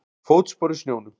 Fótspor í snjónum.